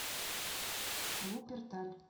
вупперталь